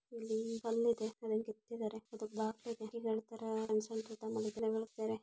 ಇಲ್ಲಿ ಕಲ್ಲು ಇದೆ ಅದನ್ನು ಕೆತ್ತಿದ್ದಾರೆ ಅದು ಬಾಗಿಲು ಇದೆ.